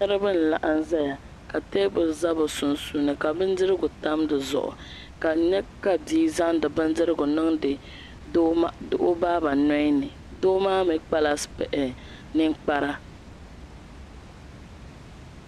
Niraba n laɣam ʒɛya ka teebuli ʒɛ bi sunsuuni ka bindirigu tam dizuɣu ka n nyɛ ka bia zaŋdi bindirigu niŋdi o baaba nolini doo maa mii kpala ninkpara